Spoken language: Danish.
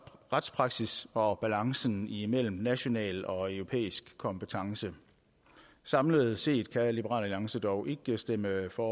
retspraksis og balancen imellem national og europæisk kompetence samlet set kan liberal alliance dog ikke stemme for